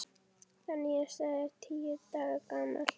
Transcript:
Það nýjasta er tíu daga gamalt.